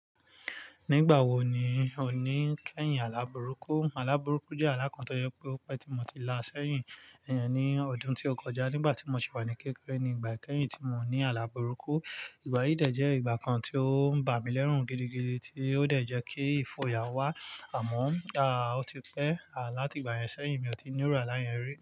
Nígbà wo ni o ní kẹ́yìn alábùrúkú? Alábùrúkú jẹ́ àlá kan to jẹ́ pé o pẹ́ tí mo ti la sẹ́yìn. Èyẹn ní ọdún tí ó kọjá nígbà tí mo ṣì wà ní kékeré nígbà kẹ́yìn tí mo ní alábùrúkú. Ìgbà yìí dẹ̀ jẹ́ ìgbà kan tí ó ń bà mí lẹ́rùn gidigidi, tí ó dẹ̀ jẹ́ kí ìfòyà wá. Àmọ́, à ó ti pẹ́. À láti ìgbà yẹn sẹ́yìn, mi ò tí ní irú àlá yẹn ri.